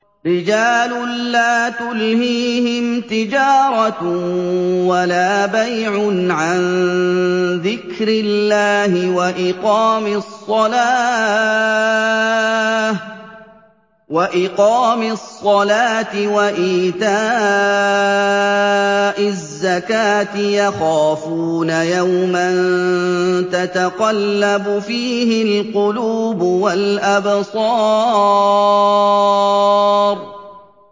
رِجَالٌ لَّا تُلْهِيهِمْ تِجَارَةٌ وَلَا بَيْعٌ عَن ذِكْرِ اللَّهِ وَإِقَامِ الصَّلَاةِ وَإِيتَاءِ الزَّكَاةِ ۙ يَخَافُونَ يَوْمًا تَتَقَلَّبُ فِيهِ الْقُلُوبُ وَالْأَبْصَارُ